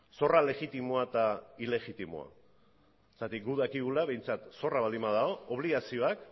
zorra legitimoa eta ilegitimoa zergatik guk dakigula behintzat zorra baldin badago obligazioak